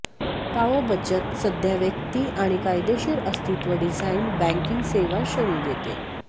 पाओ बचत सध्या व्यक्ती आणि कायदेशीर अस्तित्व डिझाइन बँकिंग सेवा श्रेणी देते